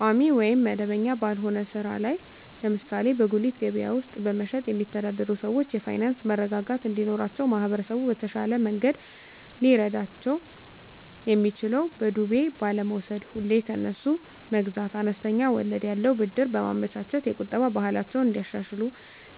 ቋሚ ወይም መደበኛ ባልሆነ ሥራ ላይ (ለምሳሌ በጉሊት ገበያ ውስጥ በመሸጥ)የሚተዳደሩ ሰዎች የፋይናንስ መረጋጋት እንዲኖራቸው ማህበረሰቡ በተሻለ መንገድ ሊረዳቸው የሚችለው በዱቤ ባለመውስድ፤ ሁሌ ከነሱ መግዛት፤ አነስተኛ ወለድ ያለው ብድር በማመቻቸት፤ የቁጠባ ባህላቸውን እንዲያሻሽሉ